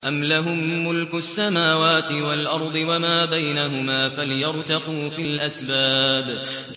أَمْ لَهُم مُّلْكُ السَّمَاوَاتِ وَالْأَرْضِ وَمَا بَيْنَهُمَا ۖ فَلْيَرْتَقُوا فِي الْأَسْبَابِ